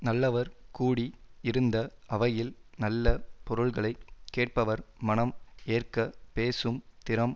நல்லவர் கூடி இருந்த அவையில் நல்ல பொருள்களை கேட்பவர் மனம் ஏற்கப் பேசும் திறம்